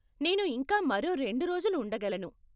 నేను ఇంకా మరో రెండు రోజులు ఉండగలను.